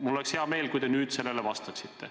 Mul oleks hea meel, kui te sellele vastaksite.